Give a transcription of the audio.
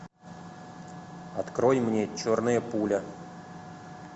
открой мне черная пуля